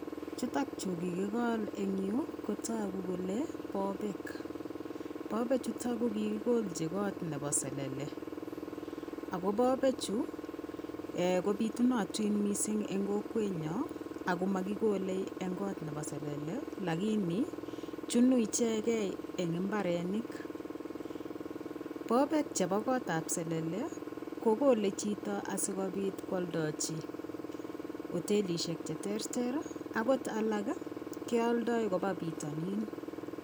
Chutok chuu kikikol Eng nyuu ko bobebk ako bobek Chu Komi kot ap sele ako bobek chuu kopitunatik mising Eng kot ap selele alot alak kealdai kopa pitanin